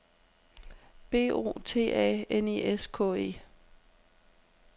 B O T A N I S K E